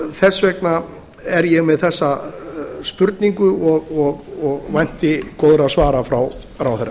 þess vegna er ég með þessar spurningar og vænti góðra svara frá ráðherra